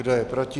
Kdo je proti?